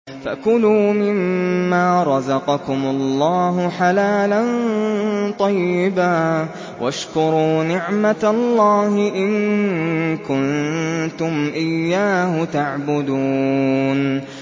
فَكُلُوا مِمَّا رَزَقَكُمُ اللَّهُ حَلَالًا طَيِّبًا وَاشْكُرُوا نِعْمَتَ اللَّهِ إِن كُنتُمْ إِيَّاهُ تَعْبُدُونَ